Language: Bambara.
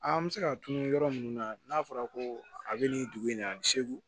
An bɛ se ka tunun yɔrɔ minnu na n'a fɔra ko a bɛ nin dugu in na a bɛ seegu